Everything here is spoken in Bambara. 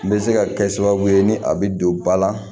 N bɛ se ka kɛ sababu ye ni a bɛ don ba la